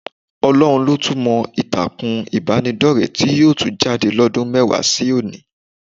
Ọlọ́run ló tún mọ ìtàkùn ìbánidọ́rẹ̀ẹ́ tí yóò tún jáde lọ́dún mẹ́wàá sí òní